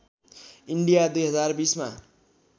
India २०२० मा